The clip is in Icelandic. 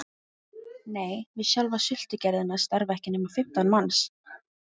Nei, við sjálfa sultugerðina starfa ekki nema fimmtán manns